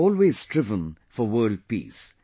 India has always strove for world peace